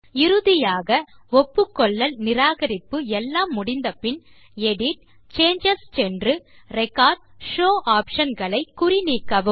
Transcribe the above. இறுதியாக ஒப்புக்கொள்ளல் நிராகரிப்பு எல்லாம் முடிந்த பின் எடிட் ஜிடிஜிடி சேஞ்சஸ் சென்று ரெக்கார்ட் ஷோவ் ஆப்ஷன் களை குறி நீக்கவும்